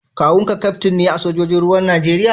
kawun ka kaftin ne a sojojin ruwan Najeriya?